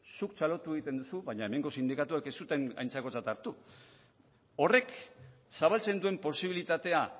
zuk txalotu egiten duzu baina hemengo sindikatuek ez zuten aintzakotzat hartu horrek zabaltzen duen posibilitatea